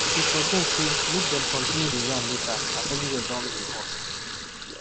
he suggest say make dem continue the yarn later as everywhere don dey hot